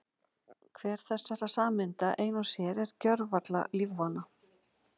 Hver þessara sameinda ein og sér er gjörsamlega lífvana.